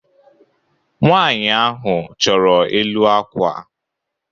Nwaanyị ahụ chọrọ elu akwa